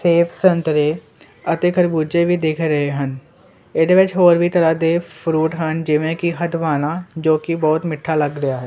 ਸੇਬ ਸੰਤਰੇ ਅਤੇ ਖਰਬੂਜੇ ਵੀ ਦਿਖ ਰਹੇ ਹਨ ਇਹਦੇ ਵਿੱਚ ਹੋਰ ਵੀ ਤਰ੍ਹਾਂ ਦੇ ਫਰੂਟ ਹਨ ਜਿਵੇਂ ਕਿ ਹਦਵਾਣਾ ਜੋ ਕਿ ਬਹੁਤ ਮਿੱਠਾ ਲੱਗ ਰਿਹਾ ਹੈ।